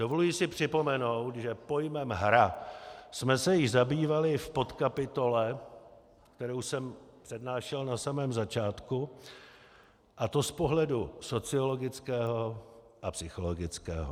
Dovoluji si připomenout, že pojmem hra jsme se již zabývali v podkapitole, kterou jsem přednášel na samém začátku, a to z pohledu sociologického a psychologického.